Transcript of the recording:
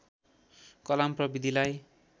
Kalam प्रविधिलाई